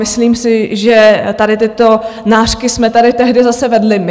Myslím si, že tady tyto nářky jsme tady tehdy zase vedli my.